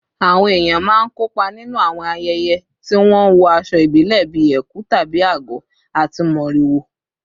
Àwọn èèyàn máa ń kópa nínú àwọn ayẹyẹ tí wọ́n ń wọ aṣọ ìbílẹ̀ bíi ẹ̀kú/àgọ̀ àti mọ́rìwò